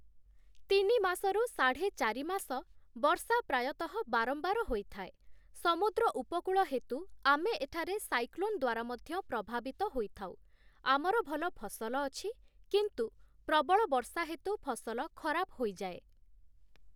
ତିନି ମାସରୁ ସାଢ଼େ ଚାରିମାସ ବର୍ଷା ପ୍ରାୟତଃ ବାରମ୍ବାର ହୋଇଥାଏ । ସମୁଦ୍ର ଉପକୂଳ ହେତୁ ଆମେ ଏଠାରେ ସାଇକ୍ଲୋନ ଦ୍ୱାରା ମଧ୍ୟ ପ୍ରଭାବିତ ହୋଇଥାଉ, ଆମର ଭଲ ଫସଲ ଅଛି କିନ୍ତୁ ପ୍ରବଳ ବର୍ଷା ହେତୁ ଫସଲ ଖରାପ ହୋଇଯାଏ ।